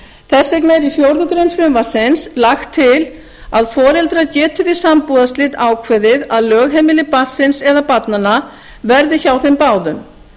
fjórða grein frumvarpsins lagt til að foreldrar geti við sambúðarslit ákveðið að lögheimili barnsins eða barnanna verði hjá þeim báðum